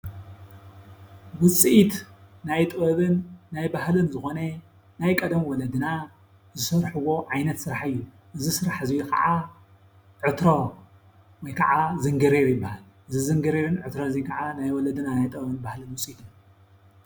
ውፅኢት ናይ ጥበብን ናይ ባህልን ዝኮነ ናይ ቀደም ወለድና ዝሰርሕዎ ዓይነት ስራሕ እዩ። እዚ ስራሕ እዚ ክዓ ዕትሮ ወይክዓ ዝንጊርር ይበሃል። እዚ ዝንጊሪርን ዕትሮን እዚ ክዓኒ ናይ ወለድ ናይ ጥበብን ባህልን ውፅኢት እዩ።